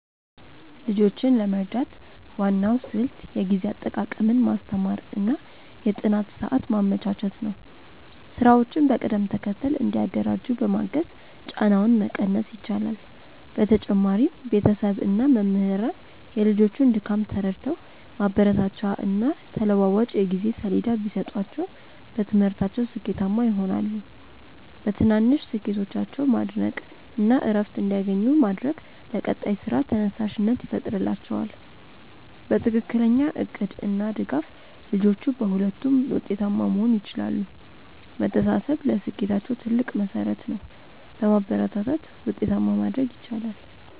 ልጆችን ለመርዳት ዋናው ስልት የጊዜ አጠቃቀምን ማስተማር እና የጥናት ሰዓት ማመቻቸት ነው። ስራዎችን በቅደም ተከተል እንዲያደራጁ በማገዝ ጫናውን መቀነስ ይቻላል። በተጨማሪም ቤተሰብ እና መምህራን የልጆቹን ድካም ተረድተው ማበረታቻና ተለዋዋጭ የጊዜ ሰሌዳ ቢሰጧቸው በትምህርታቸው ስኬታማ ይሆናሉ። በትናንሽ ስኬቶቻቸው ማድነቅ እና እረፍት እንዲያገኙ ማድረግ ለቀጣይ ስራ ተነሳሽነት ይፈጥርላቸዋል። በትክክለኛ እቅድ እና ድጋፍ ልጆቹ በሁለቱም ውጤታማ መሆን ይችላሉ። መተሳሰብ ለስኬታቸው ትልቅ መሠረት ነው። በማበረታታት ውጤታማ ማድረግ ይቻላል።